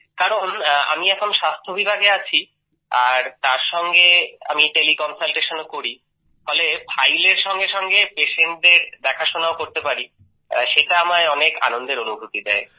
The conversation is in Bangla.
কারন আমি এখন স্বাস্থ্য বিভাগে আছি আর এর সঙ্গে আমি টেলি কনসাল্টেশন ও করি তাই ফাইলের সঙ্গে সঙ্গে পেশেন্টদের দেখাশোনা করাও আমায় অনেক আনন্দের অনুভূতি দেয়